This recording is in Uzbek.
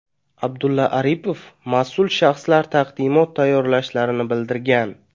Abdulla Aripov mas’ul shaxslar taqdimot tayyorlashlarini bildirgan.